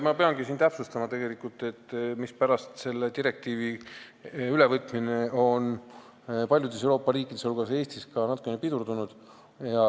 Ma peangi siin täpsustama, mispärast on selle direktiivi ülevõtmine paljudes Euroopa riikides, sh Eestis, natukene pidurdunud.